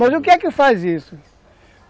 Mas o que é que faz isso?